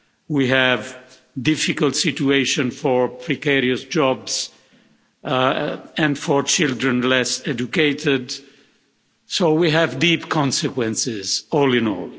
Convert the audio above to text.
we have difficult situations for precarious jobs and for children, less educated, so we have deep consequences all in all.